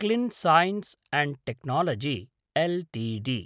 clean science and technology Ltd